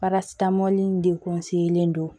Parasitamɔli de kun sigilen don